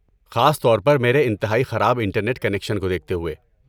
خاص طور پر میرے انتہائی خراب انٹرنیٹ کنکشن کو دیکھتے ہوئے۔